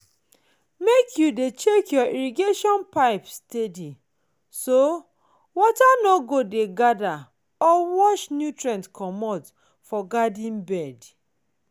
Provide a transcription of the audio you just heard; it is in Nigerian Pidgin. make you dey check your irrigation pipe steady so water no go dey gather or wash nutrient comot for garden bed